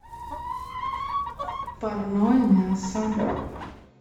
парное мясо